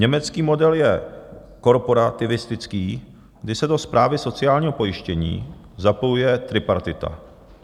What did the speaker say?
Německý model je korporativistický, kdy se do správy sociálního pojištění zapojuje tripartita.